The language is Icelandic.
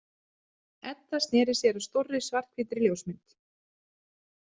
Edda sneri sér að stórri svarthvítri ljósmynd.